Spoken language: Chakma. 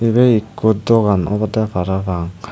ebey ekko dogan obowde parapang.